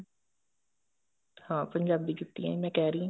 ਹਾਂ ਪੰਜਾਬੀ ਜੁੱਤੀਆਂ ਹੀ ਮੈਂ ਕਹਿ ਰਹੀ ਹਾਂ